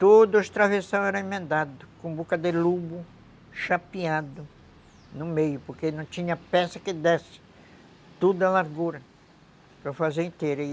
Todo o era emendado, com boca de lobo chapeado no meio, porque não tinha peça que desse toda a largura para fazer inteira.